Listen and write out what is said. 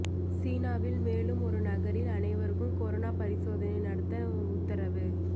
சீனாவில் மேலும் ஒரு நகரில் அனைவருக்கும் கொரோனா பரிசோதனை நடத்த உத்தரவு